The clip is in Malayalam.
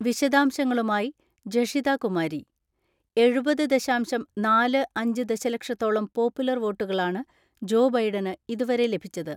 (വിശദാംശങ്ങളുമായി ജഷിത കുമാരി) എഴുപത് ദശാംശം നാല് അഞ്ച് ദശലക്ഷത്തോളം പോപ്പുലർ വോട്ടുകളാണ് ജോ ബൈഡന് ഇതുവരെ ലഭിച്ചത്.